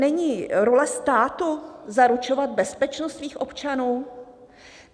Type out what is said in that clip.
Není role státu zaručovat bezpečnost svých občanů?